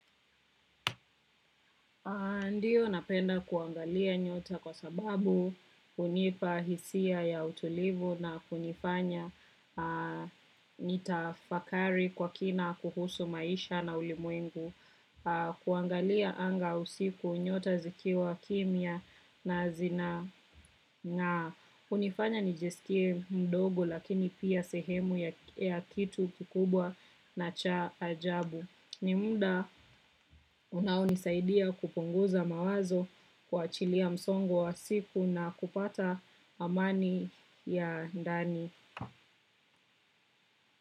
Ndio napenda kuangalia nyota kwa sababu hunipa hisia ya utulivu na kunifanya nitafakari kwa kina kuhusu maisha na ulimwengu. Kuangalia anga usiku, nyota zikiwa kimya na zinang'aa. Hunifanya nijisikie mdogo lakini pia sehemu ya kitu kikubwa na cha ajabu. Ni muda unaonisaidia kupunguza mawazo, kuachilia msongo wa siku na kupata amani ya ndani.